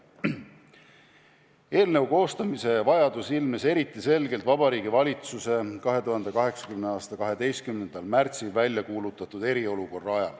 Eelnõu koostamise vajadus ilmnes eriti selgelt, kui Vabariigi Valitsus oli 2020. aasta 12. märtsil välja kuulutanud eriolukorra.